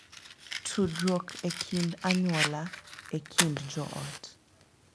Tudruok e kind anyuola e kind joot